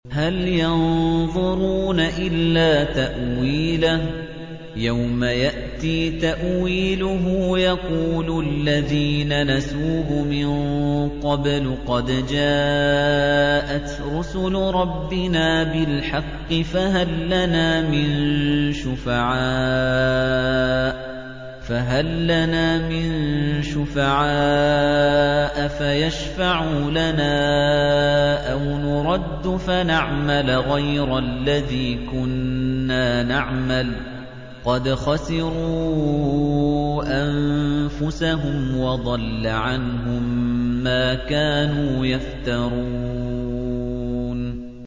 هَلْ يَنظُرُونَ إِلَّا تَأْوِيلَهُ ۚ يَوْمَ يَأْتِي تَأْوِيلُهُ يَقُولُ الَّذِينَ نَسُوهُ مِن قَبْلُ قَدْ جَاءَتْ رُسُلُ رَبِّنَا بِالْحَقِّ فَهَل لَّنَا مِن شُفَعَاءَ فَيَشْفَعُوا لَنَا أَوْ نُرَدُّ فَنَعْمَلَ غَيْرَ الَّذِي كُنَّا نَعْمَلُ ۚ قَدْ خَسِرُوا أَنفُسَهُمْ وَضَلَّ عَنْهُم مَّا كَانُوا يَفْتَرُونَ